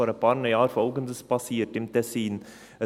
Vor einigen Jahren passierte im Tessin Folgendes: